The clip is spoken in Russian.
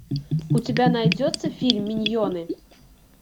у тебя найдется фильм миньоны